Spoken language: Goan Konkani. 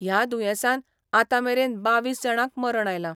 ह्या दुयेंसान आतां मेरेन बावीस जाणांक मरण आयलां.